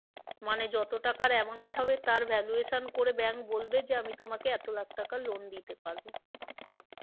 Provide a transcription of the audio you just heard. মানে যত টাকার amount হবে তার valuation করে bank বলবে যে আমি তোমাকে এতো লাখ টাকা loan দিতে পারবো।